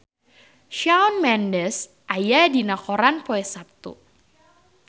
Shawn Mendes aya dina koran poe Saptu